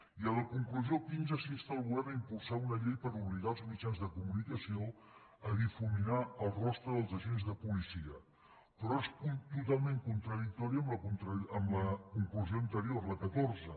i a la conclusió quinze s’insta el govern a impulsar una llei per obligar els mitjans de comunicació a difuminar el rostre dels agents de policia però és totalment contradictori amb la conclusió anterior la catorze